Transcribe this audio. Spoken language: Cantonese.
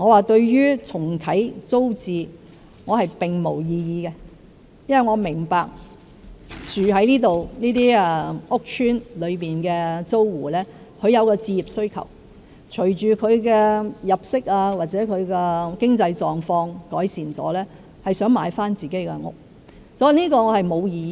對於重啟租置計劃，我並無異議，因為我明白住在這些屋邨單位的租戶有置業需求，隨着他們的入息或經濟狀況改善，他們會想買回所居住的單位。